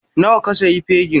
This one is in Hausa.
Nawa ka sayi fegin?